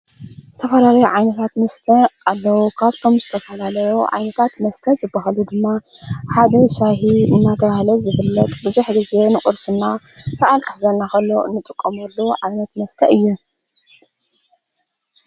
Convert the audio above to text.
ዝተፈራለ ዓይንታት ምስተ ኣሎዉ ካብቶም ዝተሣላለዮ ዓይንታት መስተ ዝብሃሉ ድማ ሓደ ሻሂ እናተሃለት ዘብለጥ ብድኅ ጊዜ ንቑርስና ሠዓል ኣሕዘናኸሎ እንጥቆምሉ ዓይነት መስተይ እየ።